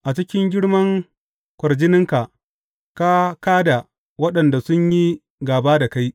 A cikin girman kwarjininka ka kā da waɗanda sun yi gāba da kai.